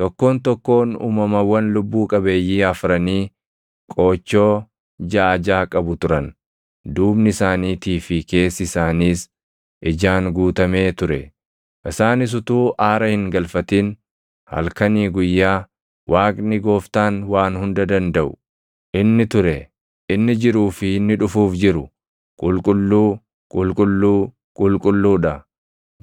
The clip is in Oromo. Tokkoon tokkoon uumamawwan lubbuu qabeeyyii afranii qoochoo jaʼa jaʼa qabu turan; duubni isaaniitii fi keessi isaaniis ijaan guutamee ture. Isaanis utuu aara hin galfatin halkanii guyyaa, “ ‘Waaqni Gooftaan Waan Hunda Dandaʼu’ + 4:8 \+xt Isa 6:3\+xt* inni ture, inni jiruu fi inni dhufuuf jiru, ‘Qulqulluu, qulqulluu, qulqulluu dha’ ”